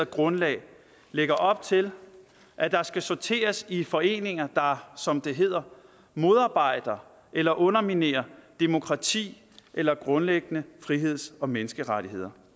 grundlag lægger op til at der skal sorteres i foreninger der som det hedder modarbejder eller underminerer demokrati eller grundlæggende friheds og menneskerettigheder